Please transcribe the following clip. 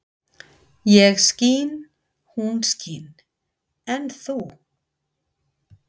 Ég skín, hún skín en þú?